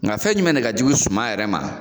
Nga fɛn jumɛn ne ka jugu suma yɛrɛ ma